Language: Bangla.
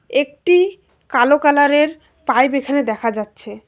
একটি কালো কালারের পাইব এখানে দেখা যাচ্ছে।